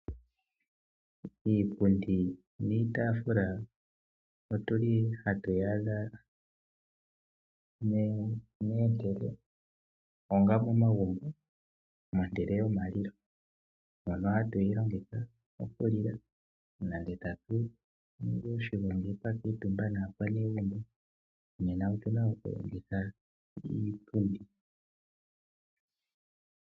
Iipundi niitaafula ohatu yi adha onga momagumbo mehala yomalilo, moka hatu yi longitha okulila nenge tatu ningi oshigongi twa kuutumba naanegumbo nena otu na okulongitha iipundi.